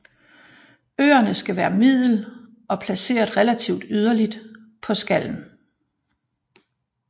Ørerne skal være middel og placeret relativt yderligt på skallen